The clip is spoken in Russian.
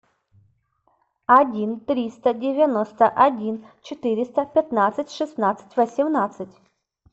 один триста девяносто один четыреста пятнадцать шестнадцать восемнадцать